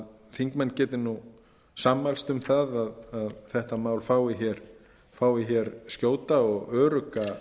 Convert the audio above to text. þingmenn geti sammælst um að þetta mál fái skjóta og örugga